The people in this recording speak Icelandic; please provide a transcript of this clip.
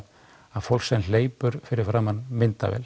að fólk sem hleypur fyrir framan myndavél